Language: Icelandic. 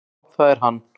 """Já, það er hann."""